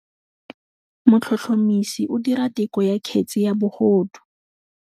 Motlhotlhomisi o dira têkolô ya kgetse ya bogodu.